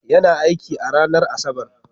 Yana aiki a ranar Asabar.